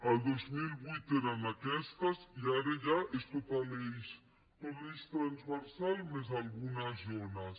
el dos mil vuit eren aquestes i ara ja és tot l’eix transversal més algunes zones